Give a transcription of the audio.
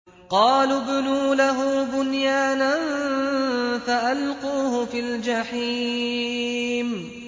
قَالُوا ابْنُوا لَهُ بُنْيَانًا فَأَلْقُوهُ فِي الْجَحِيمِ